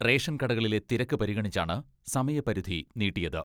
Ration കടകളിലെ തിരക്ക് പരിഗണിച്ചാണ് സമയപരിധി നീട്ടിയത്.